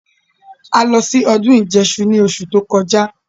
A lọ sí ọdún ìjẹṣu ní oṣù tí ó kọjá